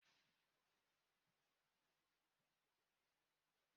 Ọ ga-aṅụ mmiri akwụkwọ ilu echi!